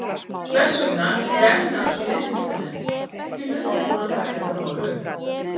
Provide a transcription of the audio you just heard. Hvers vegna er efnahags- og viðskiptanefnd ekki löngu búin að taka þetta mál upp?